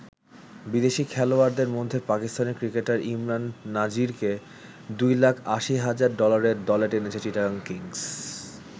বিদেশি খেলোয়াড়দের মধ্যে পাকিস্তানী ক্রিকেটার ইমরান নাজিরকে দুই লাখ ৮০ হাজার ডলারে দলে টেনেছে চিটাগাং কিংস।